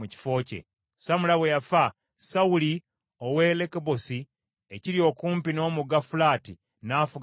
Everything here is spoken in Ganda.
Samula bwe yafa, Sawuli ow’e Lekobosi ekiri okumpi n’omugga Fulaati, n’afuga mu kifo kye.